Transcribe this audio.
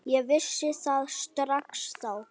Ég vissi það strax þá.